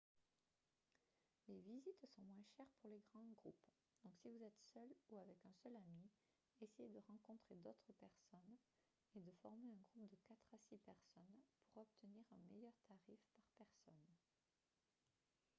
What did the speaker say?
les visites sont moins chères pour les grands groupes donc si vous êtes seul ou avec un seul ami essayez de rencontrer d'autres personnes et de former un groupe de quatre à six personnes pour obtenir un meilleur tarif par personne